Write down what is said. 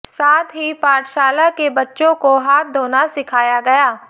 साथ ही पाठशाला के बच्चों को हाथ धोना सिखाया गया